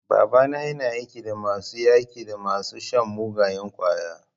Babana yana aiki da masu yaƙi da masu shan mugayen ƙwaya.